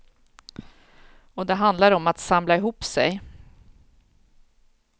Och det handlar om att samla ihop sig.